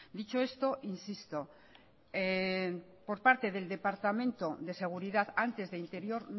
dicho esto insisto por parte del departamento de seguridad antes de interior